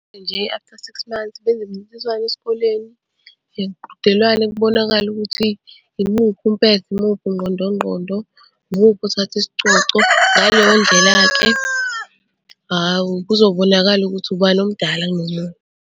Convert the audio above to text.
Nje, after six months benze imincintiswano esikoleni yemiqhudelwano kubonakale ukuthi imuphi umpetha, imuphi ungqondo ngqondo, imuphi othatha isicoco. Ngaleyo ndlela-ke hhawu kuzobonakala ukuthi ubani omdala nomunye.